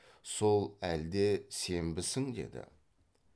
сол әлде сенбісің деді